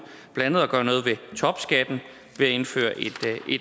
blandt andet at gøre noget ved topskatten ved at indføre